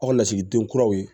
Aw ka lasigiden kuraw ye